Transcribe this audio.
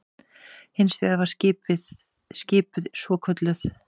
Hins vegar var skipuð svokölluð